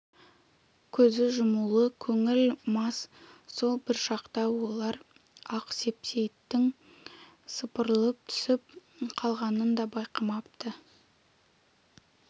көз жұмулы көңіл мас сол бір шақта олар ақ сейсептің сыпырылып түсіп қалғанын да байқамапты